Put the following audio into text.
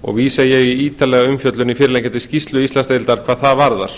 og vísa ég í ítarlega umfjöllun í fyrirliggjandi skýrslu íslandsdeildar hvað það varðar